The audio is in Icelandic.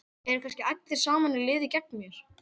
Eru kannski allir saman í liði gegn mér?